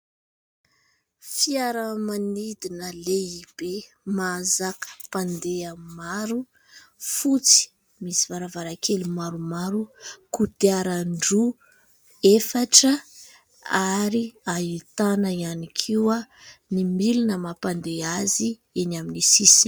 Fiaramanidina lehibe mahazaka mpandeha maro fotsy, misy varavarankely maromaro, kodiaran-droa efatra ary ahitana ihany koa ny milina mampandeha azy eny amin'ny sisiny.